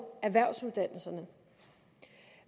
erhvervsuddannelserne